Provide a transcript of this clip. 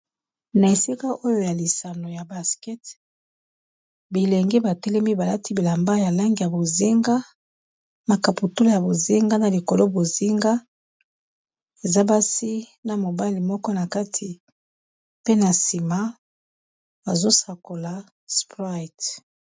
Na ésika oyo ya lisano ya baskete, bilengi batélemi balati bilamba ya langi ya bozinga, makaputula ya bozinga, na likolo bozinga eza basi na mobali moko na kati pe na nsima azosakola sprite.